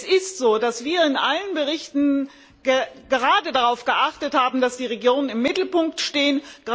Es ist so, dass wir in allen Berichten gerade darauf geachtet haben, dass die Regionen im Mittelpunkt stehen.